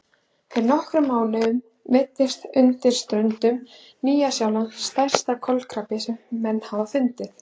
Fyrir nokkrum mánuðum veiddist undan ströndum Nýja-Sjálands stærsti kolkrabbi sem menn hafa fundið.